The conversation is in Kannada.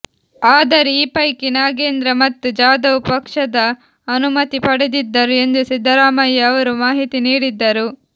ಆದರೆ ಈ ಪೈಕಿ ನಾಗೇಂದ್ರ ಮತ್ತು ಜಾದವ್ ಪಕ್ಷದ ಅನುಮತಿ ಪಡೆದಿದ್ದರು ಎಂದು ಸಿದ್ದರಾಮಯ್ಯ ಅವರು ಮಾಹಿತಿ ನೀಡಿದ್ದರು